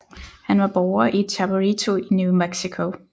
Han var borger i Chaperito i New Mexico